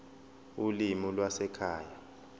ulimi lwasekhaya p